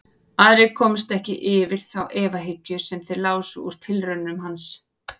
Aðrir komust ekki yfir þá efahyggju sem þeir lásu úr tilraunum hans.